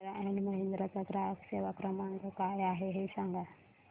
Mahindra and Mahindra चा ग्राहक सेवा क्रमांक काय आहे हे सांगा